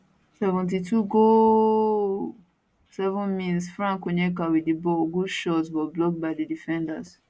72 gooaalllll 70minsfrank onyeka wit di ball good shot but blocked by di defenders